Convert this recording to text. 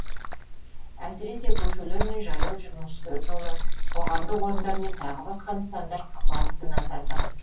әсіресе көшелер мен жаяу жүргіншілер жолы қоғамдық орындар мен тағы басқа нысандар басты назарда